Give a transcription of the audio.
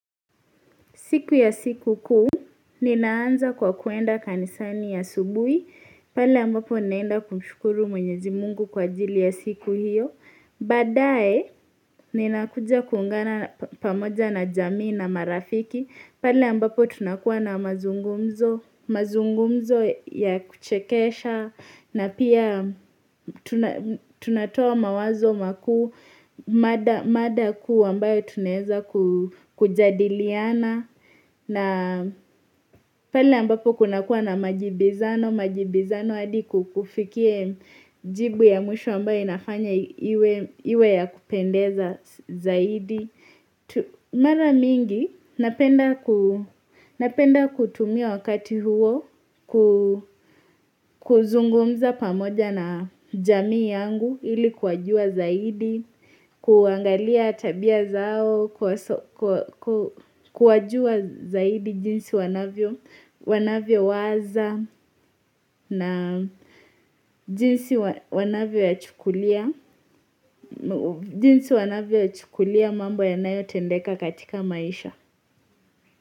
Siku ya sikukuu, ninaanza kwa kwenda kanisani ya subuhi, pale ambapo ninaenda kumshukuru mwenyezi Mungu kwa ajili ya siku hiyo. Badaye, ninakuja kuungana pamoja na jamii na marafiki, pale ambapo tunakuwa na mazungumzo, mazungumzo ya kuchekesha na pia tunatoa mawazo makuu, mada kuu ambayo tunaweza kujadiliana na pale ambapo kunakuwa na majibizano, majibizano hadi kukufikie jibu ya mwisho ambayo inafanya iwe ya kupendeza zaidi. Mara mingi napenda kutumia wakati huo kuzungumza pamoja na jamii yangu ili kuwajua zaidi, kuangalia tabia zao, kuwajua zaidi jinsi wanavyowaza na jinsi wanavyoyachukulia, jinsi wanavyo ya chukulia mambo yanayotendeka katika maisha.